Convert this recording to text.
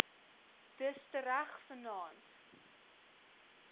dus tereg vannaand